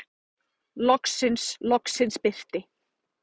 Loksins, loksins birti.